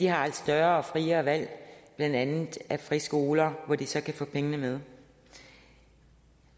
har et større og friere valg blandt andet af friskoler hvor de så kan få pengene med